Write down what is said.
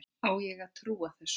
Á ég að trúa þessu?